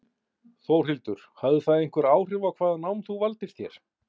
Þórhildur: Hafði það einhver áhrif á hvaða nám þú valdir þér?